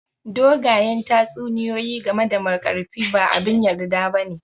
Dogayen tatsuniyoyi game da Markarfi ba abin yarda ba ne